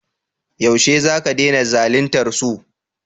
Yaushe za ka dena zalintar su?